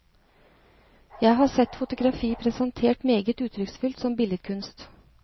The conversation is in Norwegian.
Jeg har sett fotografi presentert meget uttrykksfullt som billedkunst.